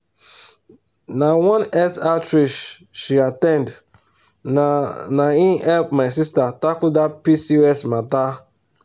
na one health outreach she at ten d na na him help my sister tackle that pcos matter.